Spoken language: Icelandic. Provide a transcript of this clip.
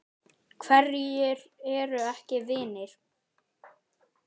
Hverjir eru ekki vinir?